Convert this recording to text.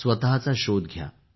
स्वतःचा शोध घ्या